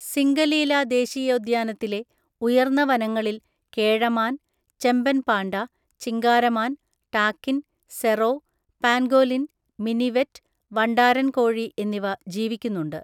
സിംഗലീല ദേശീയോദ്യാനത്തിലെ ഉയർന്ന വനങ്ങളിൽ കേഴമാൻ, ചെമ്പൻ പാണ്ട, ചിങ്കാരമാൻ, ടാകിൻ, സെറോ, പാൻഗോലിൻ, മിനിവെറ്റ്, വണ്ടാരന്‍കോഴി എന്നിവ ജീവിക്കുന്നുണ്ട്.